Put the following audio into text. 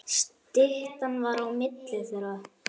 Styttan var á milli þeirra.